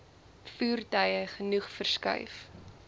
voertuie genoeg verskuif